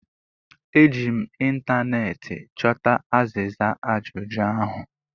Eji m ịntaneetị chọta azịza ajụjụ ahụ